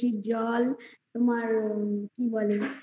জল তোমার কি বলে আ কি বলে আর উউমম